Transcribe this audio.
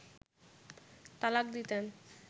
তালাক দিতেন